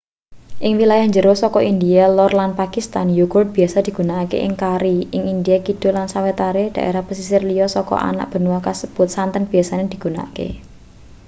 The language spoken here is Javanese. ing wilayah jero saka india lor lan pakistan yogurt biasa digunakake ing kari ing india kidul lan sawetara daerah pesisir liya saka anak benua kasebut santen biasa digunakake